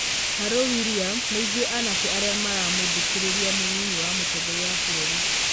Haroo Wiriamu, nĩ ithuĩ anake arĩa maramũthirĩkia mũnyinyi wa mũtongoria wa bũrũri.